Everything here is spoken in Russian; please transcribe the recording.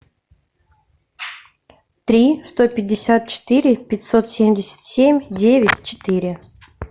три сто пятьдесят четыре пятьсот семьдесят семь девять четыре